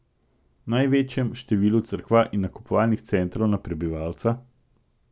Največjem številu cerkva in nakupovalnih centrov na prebivalca?